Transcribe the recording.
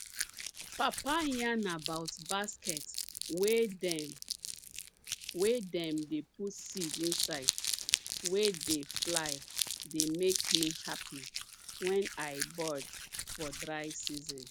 papa yarn about basket wey dem wey dem dey put seed inside wey de fly dey make me happy when i bored for dry season